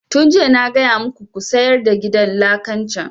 Tun jiya na gaya muku ku sayar da gidan lakan can!